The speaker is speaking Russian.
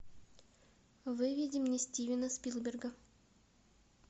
выведи мне стивена спилберга